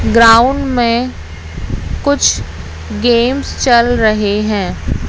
Ground में कुछ games चल रहे हैं।